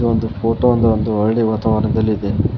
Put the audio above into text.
ಒಂದು ಫೋಟೋ ಒಂದು ಒಂದು ಹಳ್ಳಿ ವಾತಾವರಣದಲ್ಲಿದೆ.